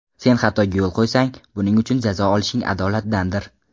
Sen xatoga yo‘l qo‘ysang, buning uchun jazo olishing adolatdandir.